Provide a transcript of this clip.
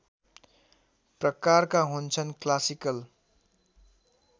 प्रकारका हुन्छन् क्लासिकल